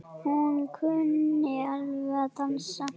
Hún kunni alveg að dansa.